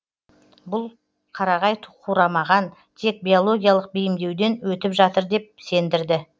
бұл қарағай қурамаған тек биологиялық бейімдеуден өтіп жатыр деп сендірді